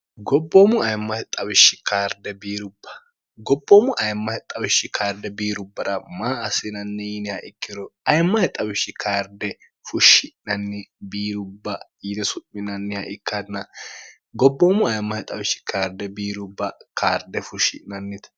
gobboomu ayimmahe xawishshi karde biirubbara maa assinanni yiiniha ikkiro ayimmahe xawishshi karde fushshi'nanni biirubba yine su'minanniha ikkanna gobboomu ayemmahe xawishshi karde biirubba karde fushshi'nannite